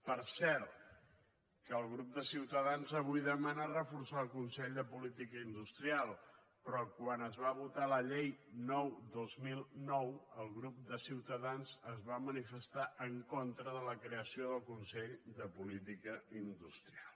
per cert que el grup de ciutadans avui demana reforçar el consell de política industrial però quan es va votar la llei nou dos mil nou el grup de ciutadans es va manifestar en contra de la creació del consell de política industrial